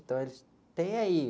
Então, eles têm aí.